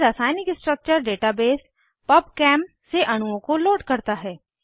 यह रासायनिक structure database PubChem से अणुओं को लोड करता है